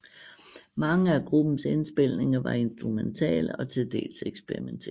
Mange af gruppens indspilninger var instrumentale og til dels eksperimenterende